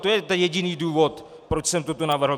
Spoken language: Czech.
To je ten jediný důvod, proč jsem toto navrhl.